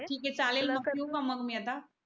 चालेल मग ठेवू का मग मी आता